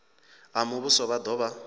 a muvhuso vha do vha